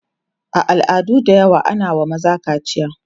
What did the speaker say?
a al'adu da yawa ana wa maza kaciya